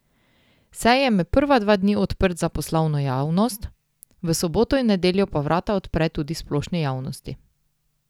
Sejem je prva dva dni odprt za poslovno javnost, v soboto in nedeljo pa vrata odpre tudi splošni javnosti.